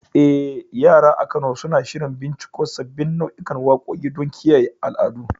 Eh, yara a Kano suna shirin binciko sabbin nau'ikan waƙoƙi don kiyaye al'adu.